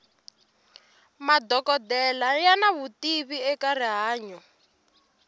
madokodela yana vutivi eka rihanyo